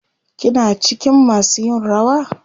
Kina cikin masu yin rawa?